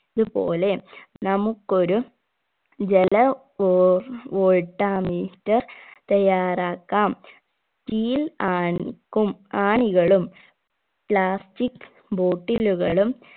ഇത് പോലെ നമുക്കൊരു ജല വോ voltometer തയ്യാറാക്കാം steel ആണിക്കും ആണികളും plastic bottle കളും